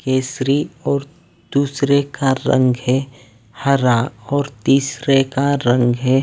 केसरी और दूसरे का रंग है हरा और तीसरे का रंग है--